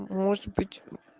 может быть